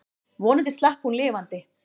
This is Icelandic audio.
Vonandi slapp hún lifandi.